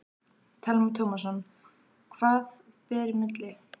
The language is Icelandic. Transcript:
Telma Tómasson: Hvað ber í milli?